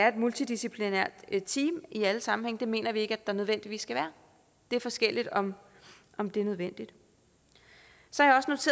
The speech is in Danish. et multidisciplinært team i alle sammenhænge det mener vi ikke der nødvendigvis skal være det er forskelligt om om det er nødvendigt så